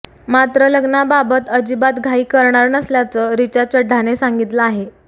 मात्र लग्नाबाबत अजिबात घाई करणार नसल्याचं रिचा चढ्ढाने सांगितलं आहे